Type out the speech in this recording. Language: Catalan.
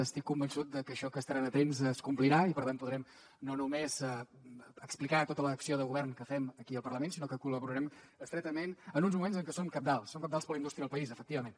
estic convençut de que això que estaran atents es complirà i per tant podrem no només explicar tota l’acció de govern que fem aquí al parlament sinó que col·laborem estretament en uns moments en què són cabdals són cabdals per a la indústria del país efectivament